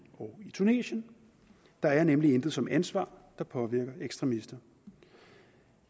og i tunesien der er nemlig intet som ansvar der påvirker ekstremister